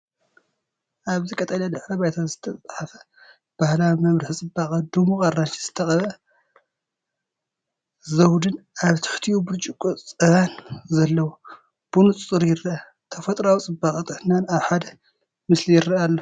ኣብዚ ቀጠልያ ድሕረ ባይታ ዝተጻሕፈ ባህላዊ መምርሒ ጽባቐ፡ ድሙቕ ኣራንሺ ዝተቐብአ ዘውድን ኣብ ትሕቲኡ ብርጭቆ ጸባን ዘለዎ፡ ብንጹር ይርአ። ተፈጥሮኣዊ ጽባቐን ጥዕናን ኣብ ሓደ ምስሊ ይረአ ኣሎ።